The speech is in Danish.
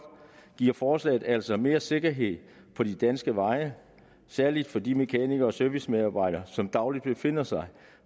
giver forslaget altså mere sikkerhed på de danske veje særlig for de mekanikere og servicemedarbejdere som dagligt befinder sig